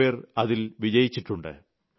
കുറേ പേർ അതിൽ വിജയിച്ചിട്ടുണ്ട്